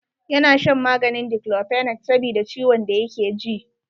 Ya na shan maganin Diklofenak sabida ciwon da yake ji.